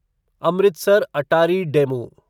Amritsar Attari DEMU